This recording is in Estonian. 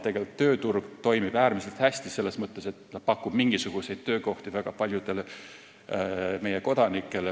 Tegelikult tööturg toimib äärmiselt hästi, selles mõttes, et pakub mingisuguseid töökohti väga paljudele meie kodanikele.